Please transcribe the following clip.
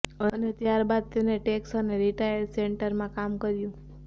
અને ત્યારબાદ તેને ટેક્સ અને રિટાયર્ડ સેન્ટરમાં કામ કર્યું